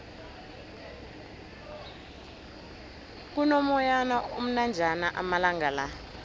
kuno moyana omnanjana amalangala